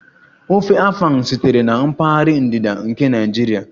Ofe Afang sitere na mpaghara ndịda nke Naijiria